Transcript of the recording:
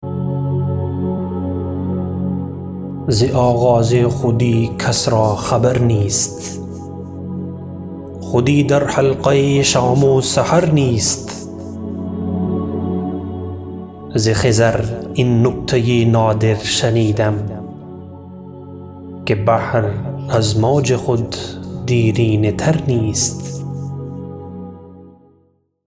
ز آغاز خودی کس را خبر نیست خودی در حلقه شام و سحر نیست ز خضر این نکته نادر شنیدم که بحر از موج خود دیرینه تر نیست